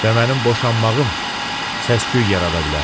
və mənim boşanmağım səs-küy yarada bilər.